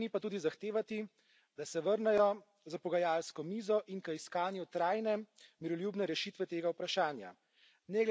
Od vseh strani pa tudi zahtevati, da se vrnejo za pogajalsko mizo in k iskanju trajne miroljubne rešitve tega vprašanja.